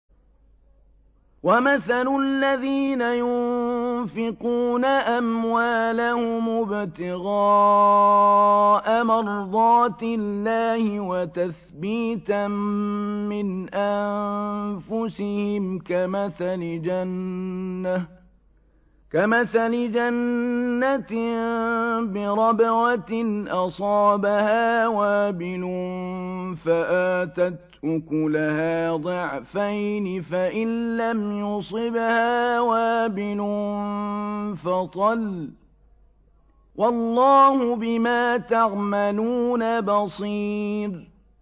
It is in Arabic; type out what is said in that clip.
وَمَثَلُ الَّذِينَ يُنفِقُونَ أَمْوَالَهُمُ ابْتِغَاءَ مَرْضَاتِ اللَّهِ وَتَثْبِيتًا مِّنْ أَنفُسِهِمْ كَمَثَلِ جَنَّةٍ بِرَبْوَةٍ أَصَابَهَا وَابِلٌ فَآتَتْ أُكُلَهَا ضِعْفَيْنِ فَإِن لَّمْ يُصِبْهَا وَابِلٌ فَطَلٌّ ۗ وَاللَّهُ بِمَا تَعْمَلُونَ بَصِيرٌ